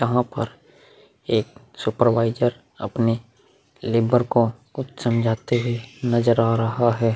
यहां पर एक सुपरवाइजर अपने लेवर को कुछ समझाते हुए नजर आ रहा है।